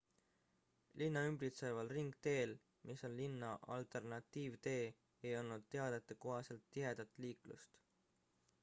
linna ümbritseval ringteel mis on linna alternatiivtee ei olnud teadete kohaselt tihedat liiklust